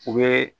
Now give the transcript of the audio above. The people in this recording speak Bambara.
U bɛ